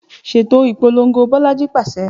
Ṣeto ipolongo Bolaji paṣẹ